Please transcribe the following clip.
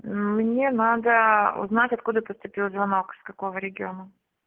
мм мне надо узнать откуда поступил звонок с какого региона